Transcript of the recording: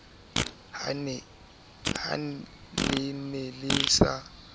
ha le ne le sa